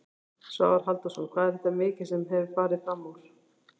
Svavar Halldórsson: Hvað er þetta mikið sem að hefur farið framúr?